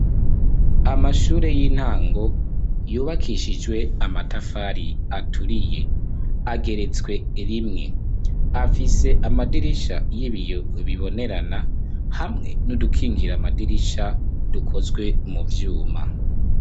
Amashure y'intango , yubakishijwe amatafari aturiye ageretswe rimwe .Afise amadirisha y'ibiyo bibonerana , hamwe n'udukingira amadirisha dukozwe mu vyuma.